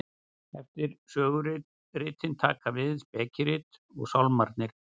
eftir söguritin taka við spekirit og sálmarnir